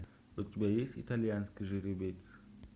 у тебя есть итальянский жеребец